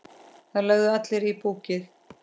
Það lögðu allir í púkkið.